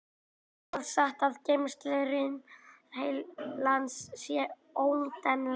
Er það satt að geymslurými heilans sé óendanlegt?